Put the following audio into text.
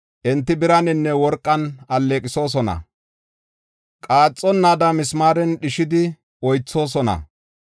Enti biraninne worqan alleeqisosona; qaaxonnaada misimaaren dhishidi oythoosona.